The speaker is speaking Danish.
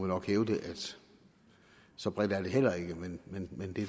nok hævde at så bredt er det heller ikke men det